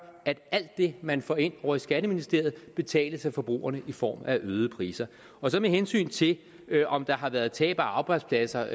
alt det man får ind ovre i skatteministeriet betales af forbrugerne i form af øgede priser med hensyn til om der har været tab af arbejdspladser